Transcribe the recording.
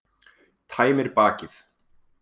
Tæmir bakið.